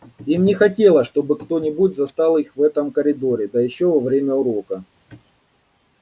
им не хотелось чтобы кто-нибудь застал их в этом коридоре да ещё во время урока